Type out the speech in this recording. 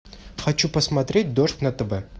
хочу посмотреть дождь на тв